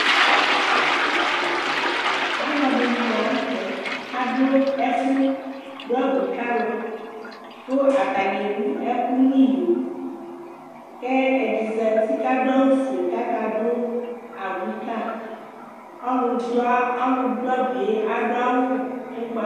ɑlωɑɗiɲi lɑɲωtɛ ɑɗω ẽfωɗωɑbu kɑlω kω ɑtɑɲiɛ wωɛkω ṅiyó kɛ ɛɗizɑti kɑɗωɑwωfωɛ kɑƙɑɗω ɑbωikɑ ɔlωɗωạbωɛ ɑɗωɑwω ωkpɑ